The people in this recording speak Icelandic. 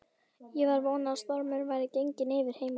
Ég var að vona að stormurinn væri genginn yfir heima.